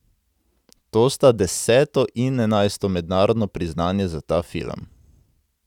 To sta deseto in enajsto mednarodno priznanje za ta film.